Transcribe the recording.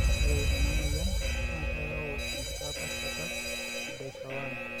ore ena moyian naa keyau enkitapaashata e DICER1